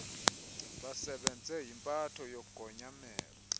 basebenze yimpatho yogonyamelo